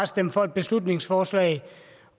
stemme for et beslutningsforslag